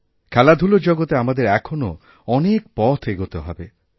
খেলাধুলোরজগতে আমাদের এখনও অনেক পথ এগোতে হবে